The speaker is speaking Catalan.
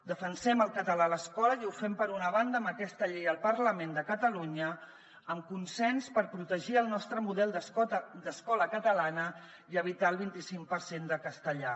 defensem el català a l’escola i ho fem per una banda amb aquesta llei al parlament de catalunya amb consens per protegir el nostre model d’escola catalana i evitar el vint i cinc per cent de castellà